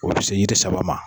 O bi se yiri saba ma.